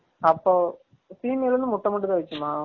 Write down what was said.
அப்ப female வந்து முட்டை மட்டும் தான் வைகுமா